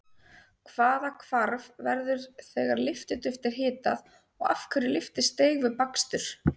Hvaða hvarf verður þegar lyftiduft er hitað og af hverju lyftist deig við bakstur?